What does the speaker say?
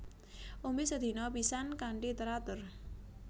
Ombe sedina pisan kanthi teratur